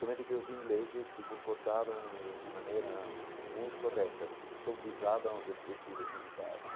Somente que os ingleses se comportavam de maneira muito correta, porque eles sobrevisavam os objetivos militares.